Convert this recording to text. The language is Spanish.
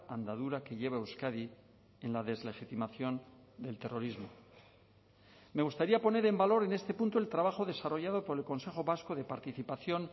andadura que lleva euskadi en la deslegitimación del terrorismo me gustaría poner en valor en este punto el trabajo desarrollado por el consejo vasco de participación